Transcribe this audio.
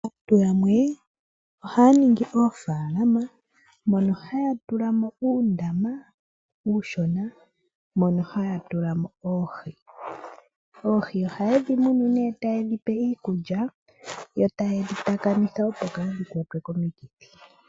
Aantu yamwe ohayaningi oofaalama mono hayatulamo uundama uushona mono hayatulamo oohi. Oohi ohayedhi munu tayedhipe iikulya yo tayedhi takamitha opo kaadhikwatwe komikithi.